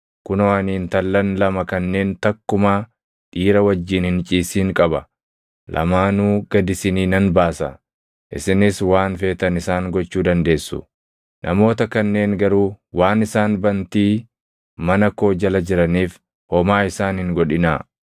Kunoo ani intallan lama kanneen takkumaa dhiira wajjin hin ciisin qaba. Lamaanuu gad isinii nan baasa; isinis waan feetan isaan gochuu dandeessu. Namoota kanneen garuu waan isaan bantii mana koo jala jiraniif homaa isaan hin godhinaa.”